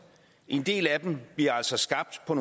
en del af dem bliver altså skabt på